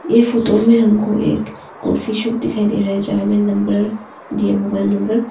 ये फोटो में हमको एक कॉफी शॉप दिखाई दे रहा है जहां में नंबर दिए मोबाइल नंबर --